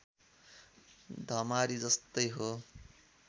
धमारी जस्तै हो